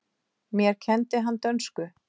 Mér kenndi hann dönsku.